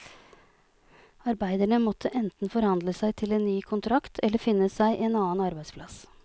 Arbeiderne måtte enten forhandle seg til en ny kontrakt, eller finne seg en annen arbeidplass.